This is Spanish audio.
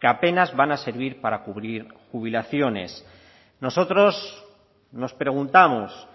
que apenas van a servir para cubrir jubilaciones nosotros nos preguntamos